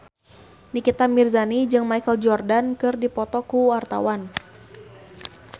Nikita Mirzani jeung Michael Jordan keur dipoto ku wartawan